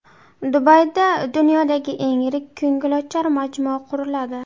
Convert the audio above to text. Dubayda dunyodagi eng yirik ko‘ngilochar majmua quriladi.